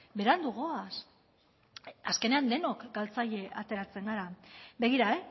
berandu goaz azkenean denok galtzaile ateratzen gara begira